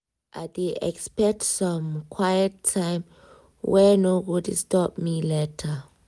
i dey expect some quiet time wey no go disturb me later.